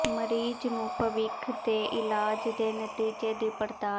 ਮਰੀਜ਼ ਨੂੰ ਭਵਿੱਖ ਦੇ ਇਲਾਜ ਦੇ ਨਤੀਜੇ ਦੀ ਪੜਤਾਲ